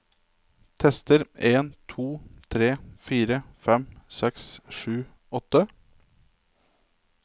Tester en to tre fire fem seks sju åtte